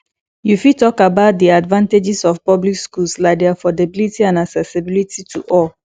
you fit talk about di advantages of public schools like di affordability and accessibility to all